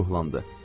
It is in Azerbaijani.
Nənə ruhlandı.